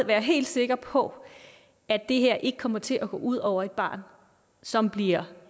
være helt sikre på at det her ikke kommer til at gå ud over et barn som bliver